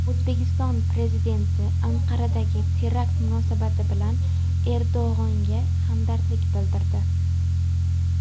O‘zbekiston Prezidenti Anqaradagi terakt munosabati bilan Erdo‘g‘onga hamdardlik bildirdi.